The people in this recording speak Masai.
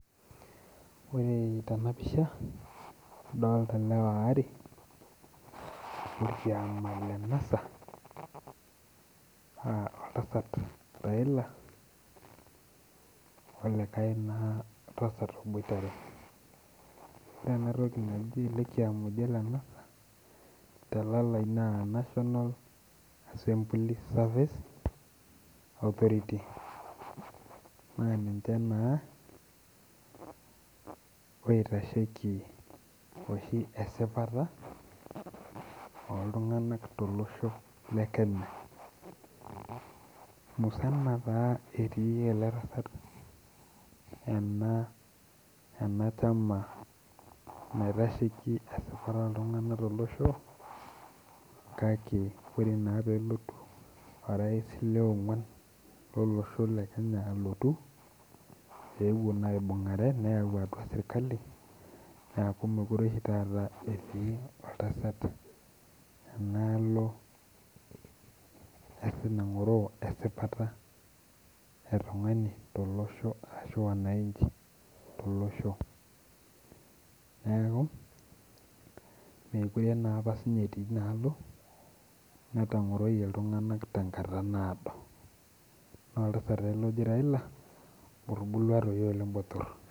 Ore Tena pisha adolita ilewa waaree lookiama le NASA oltasat raila olikae naa tasat oboitare ore elekiama oji ole NASA te lalai naa national assembly service authority[